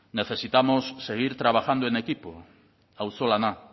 necesitamos seguir trabajando en equipo auzolana